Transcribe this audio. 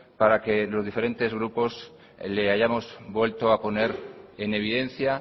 para que los diferentes grupos le hayamos vuelto a poner en evidencia